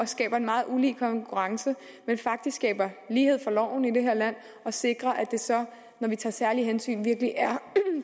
skaber en meget ulige konkurrence men faktisk skaber lighed for loven i det her land og sikrer at det så når vi tager særlige hensyn virkelig er